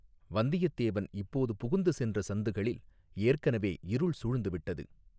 வந்தியத்தேவன் இப்போது புகுந்து சென்ற சந்துகளில் ஏற்கனவே இருள் சூழ்ந்துவிட்டது.